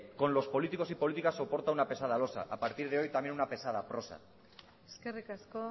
con los políticos y políticas soporta una pesada losa a partir de hoy también una pesada prosa eskerrik asko